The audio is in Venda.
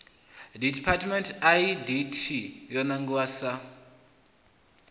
development idt yo nangiwa sa